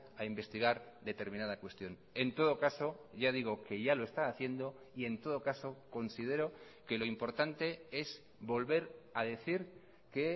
a investigar determinada cuestión en todo caso ya digo que ya lo está haciendo y en todo caso considero que lo importante es volver a decir que